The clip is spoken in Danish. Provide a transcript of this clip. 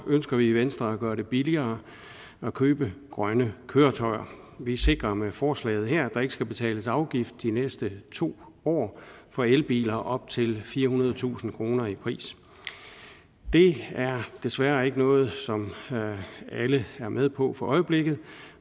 ønsker vi i venstre at gøre det billigere at købe grønne køretøjer vi sikrer med forslaget her at der ikke skal betales afgift de næste to år for elbiler op til firehundredetusind kroner i pris det er desværre ikke noget som alle er med på for øjeblikket